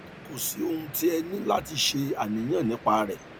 kò sí ohun tí ẹ ní láti ṣe àníyàn nípa rẹ